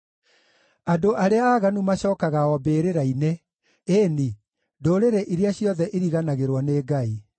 Andũ arĩa aaganu macookaga o mbĩrĩra-inĩ, ĩĩ-ni, ndũrĩrĩ iria ciothe iriganagĩrwo nĩ Ngai.